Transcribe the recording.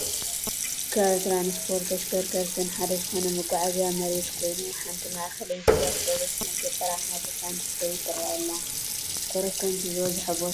ካብ ትራንስፖርትን ተሽከርከርትን ሓደ ዝኾነ መጓዓዝያ መሬት ኮይኑ ሓንቲ ማእኸለይቲ ኣውቶብስ ናብ ገጠራማ ቦታ እንትትከይድ ትረአ ኣላ፡፡ ኮሮኮንቺ ዝበዝሖ ቦታ ዶ ይመስል?